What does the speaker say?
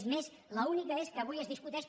és més l’única és que avui es discuteix